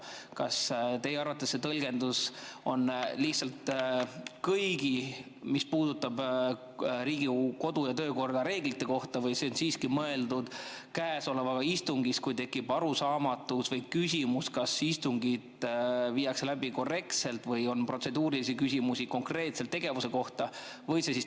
Kas teie arvates võib seda tõlgendada nii, et see on lihtsalt kõigi reeglite kohta, mis puudutavad Riigikogu kodu- ja töökorda, või on siiski mõeldud konkreetset istungit, kui tekib arusaamatus või küsimus, kas istungit viiakse läbi korrektselt, ja on protseduurilisi küsimusi konkreetse tegevuse kohta?